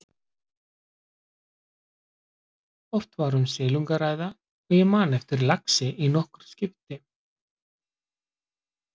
Oft var um silung að ræða og ég man eftir laxi í nokkur skipti.